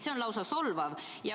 See on lausa solvav.